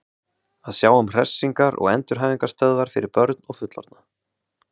Að sjá um hressingar- og endurhæfingarstöðvar fyrir börn og fullorðna.